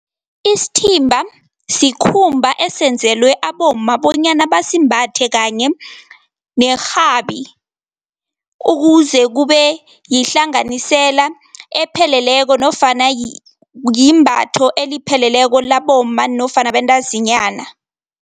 Isithimba sikhumba esenzelwe abomma bonyana basimbathe kanye nerhabi, ukuze kube yihlanganisela epheleleko nofana yimbatho elipheleleko labomma nofana abantazinyana